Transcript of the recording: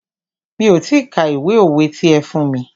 Mi ò ti ka ìwé òwe ti ẹ fún mí.